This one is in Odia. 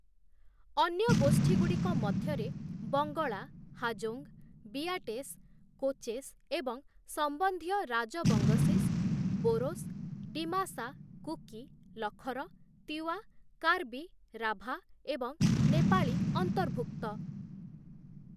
ଅନ୍ୟ ଗୋଷ୍ଠୀଗୁଡ଼ିକ ମଧ୍ୟରେ ବଙ୍ଗଳା, ହାଜୋଙ୍ଗ, ବିଆଟେସ୍, କୋଚେସ୍ ଏବଂ ସମ୍ବନ୍ଧୀୟ ରାଜବଙ୍ଗଶିସ୍, ବୋରୋସ୍, ଡିମାସା, କୁକି, ଲଖର, ତିୱା, କାର୍ବି, ରାଭା ଏବଂ ନେପାଳୀ ଅନ୍ତର୍ଭୁକ୍ତ ।